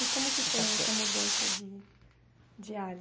E como que foi essa mudança de de ares?